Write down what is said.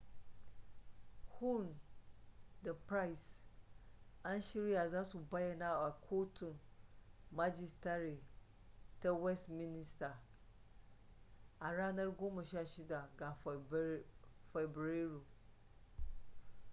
huhne da pryce an shirya za su bayyana a kotun majistare ta westminster a ranar 16 ga fabrairu